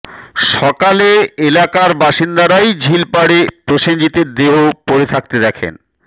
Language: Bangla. সকালে এলাকার বাসিন্দারাই ঝিলপাড়ে প্রসেনজিতের দেহ পড়ে থাকতে দেখেন